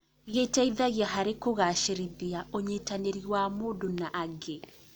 Gĩteithagia harĩ kũgacĩrithia ũnyitanĩri wa mũndũ na angĩ.